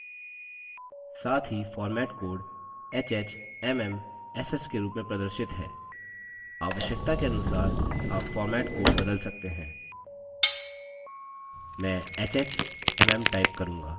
साथ ही format code hh: mm: ss के रूप में प्रदर्शित है आवश्यकता के अनुसार आप format code बदल सकते हैं मैं hh: mm type करूँगा